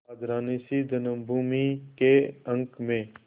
राजरानीसी जन्मभूमि के अंक में